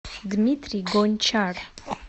дмитрий гончар